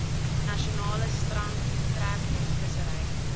natalse strand treknetvissery